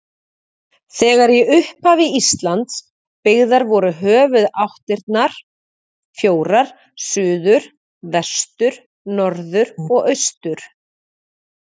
Þegar í upphafi Íslands byggðar voru höfuðáttirnar fjórar: suður, vestur, norður og austur.